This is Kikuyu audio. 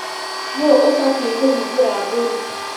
Nũ ũbatie kũhingĩra mbũri.